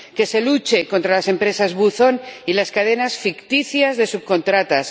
que se luche contra las empresas buzón y las cadenas ficticias de subcontratas